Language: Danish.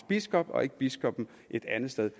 biskop og ikke biskoppen et andet sted